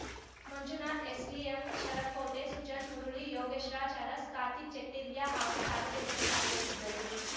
Manjunath SDM Sharath Kote Sujan Murali Yogesh Raj Aras Karthik Chettirya ಹಾಗೂ ಸಾರ್ವಜನಿಕರು ಪಾಲ್ಗೊಂಡಿದ್ದರು